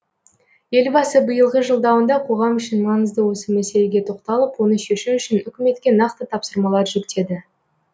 елбасы биылғы жолдауында қоғам үшін маңызды осы мәселеге тоқталып оны шешу үшін үкіметке нақты тапсырмалар жүктеді